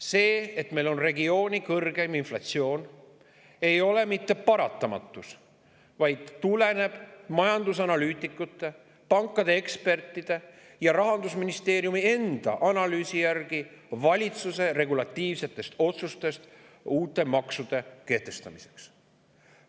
See, et meil on regiooni kõrgeim inflatsioon, ei ole mitte paratamatus, vaid tuleneb majandusanalüütikute, pankade ekspertide ja Rahandusministeeriumi enda analüüsi järgi valitsuse regulatiivsetest otsustest uute maksude kehtestamiseks.